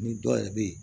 Ni dɔ yɛrɛ bɛ yen